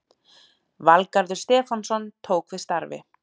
Valgarður Stefánsson tók við starfi